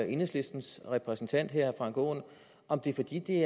enhedslistens repræsentant her herre frank aaen om det er fordi det